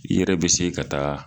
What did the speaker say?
I yɛrɛ be se ka taa